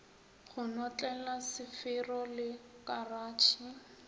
go notlela sefero le karatšhe